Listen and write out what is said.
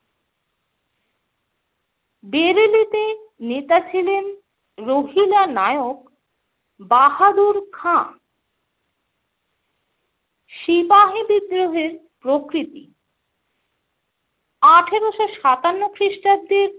বেরিলিতে নেতা ছিলেন রোহিলা নায়ক বাহাদুর খাঁ। সিপাহী বিদ্রোহের প্রকৃতি - আঠেরোশো সাতান্ন খ্রিস্টাব্দের